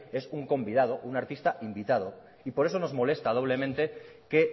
es un convidado un artista invitado y por eso nos molesta doblemente que